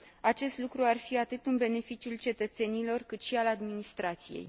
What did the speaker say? Acest lucru ar fi atât în beneficiul cetățenilor, cât și al administrației.